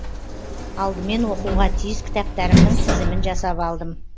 алдымен оқуға тиіс кітаптарымның тізімін жасап алдым